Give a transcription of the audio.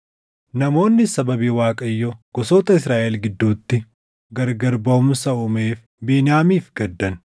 Namoonnis sababii Waaqayyo gosoota Israaʼel gidduutti gargari baʼumsa uumeef Beniyaamiif gaddan.